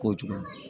Kojugu